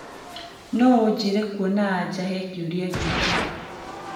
no ujire kũona aja he kiuria giki